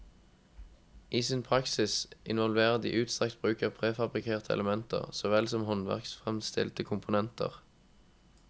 I sin praksis involverer de utstrakt bruk av prefabrikerte elementer, så vel som håndverksfremstilte komponenter.